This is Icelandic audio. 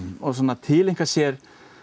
tileinka sér